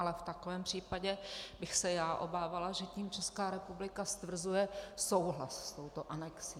Ale v takovém případě bych se já obávala, že tím Česká republika stvrzuje souhlas s touto anexí.